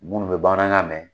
Munnu bɛ bamanankan mɛn